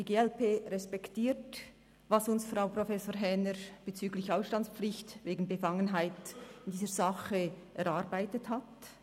Die glp respektiert, was uns Frau Professor Häner bezüglich Ausstandspflicht wegen Befangenheit in dieser Sache erarbeitet hat;